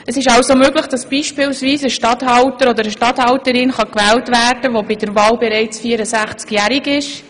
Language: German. Es ist also möglich, dass beispielsweise ein Regierungsstatthalter oder eine Regierungsstatthalterin gewählt werden kann, die bei der Wahl bereits 64-jährig ist.